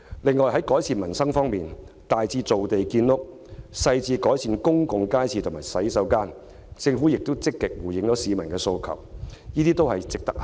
另外，在改善民生方面，大至造地建屋，小至改善公眾街市及公廁，政府亦有積極回應市民的訴求。